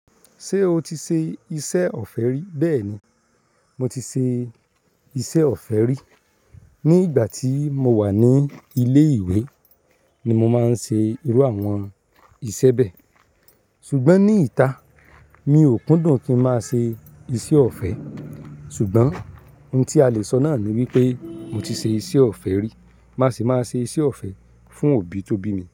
Ṣé o ti ṣe iṣẹ́ ọ̀fẹ́ rí? Bẹ́ẹ̀ni, mo ti ṣe iṣẹ́ ọ̀fẹ́ rí. Ní ìgbà tí mo wà ní ilé ìwé ni mo máa ń ṣe irú àwọn iṣẹ́ bẹ́ẹ̀. Ṣùgbọ́n ní ìta mi ò kúndùn kí ń máa ṣe iṣẹ́ ọ̀fẹ́. Ṣùgbọ́n ohun tí a le sọ náà ni wípé mo ti ṣe iṣẹ́ ọ̀fẹ́ rí, má sì máa ṣe iṣẹ́ ọ̀fẹ́ fún òbí tó bí mi.